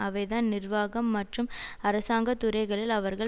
அவைதான் நிர்வாகம் மற்றும் அரசாங்க துறைகளில் அவர்கள்